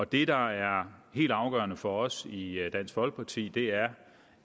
det der er helt afgørende for os i dansk folkeparti er